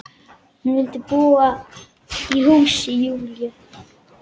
Hún vildi búa í húsi Júlíu.